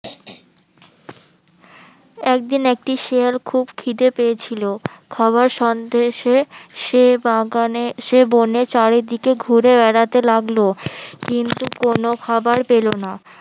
একদিন একটি শেয়াল খুব খিদে পেয়েছিল খাবার সন্দেশে সে সে বাগানে সে বনে চারিদিকে ঘুরে বেড়াতে লাগলো কিন্তু কোনো খাবার পেলো না